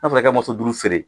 N'a fɔra i ka duuru feere